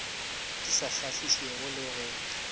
di sa kgahlišego le go